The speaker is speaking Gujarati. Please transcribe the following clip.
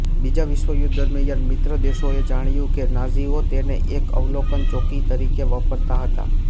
બીજા વિશ્વયુદ્ધ દરમ્યાન મિત્રો દેશોએ જાણ્યું કે નાઝીઓ તેને એક અવલોકન ચોકી તરીકે વાપરતાં હતાં